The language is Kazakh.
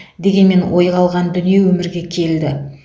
дегенмен ойға алған дүние өмірге келді